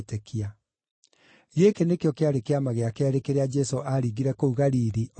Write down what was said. Gĩkĩ nĩkĩo kĩarĩ kĩama gĩa keerĩ kĩrĩa Jesũ aaringire kũu Galili, oimĩte Judea.